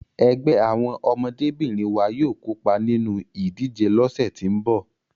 Ẹgbẹ́ àwọn ọmọdébìnrin wa yóò kópa nínú ìdíje lọ́sẹ̀ tí ń bọ̀.